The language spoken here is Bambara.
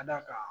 Ka d'a kan